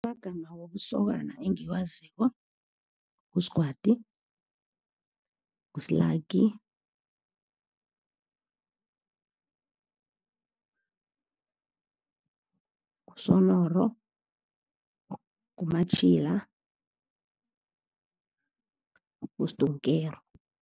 Amagama wobusokana engiwaziko, nguSgwadi, nguSlaki, nguSonoro, nguMatjhila, nguSdonkero.